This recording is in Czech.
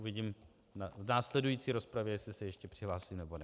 Uvidím v následující rozpravě, jestli se ještě přihlásím, nebo ne.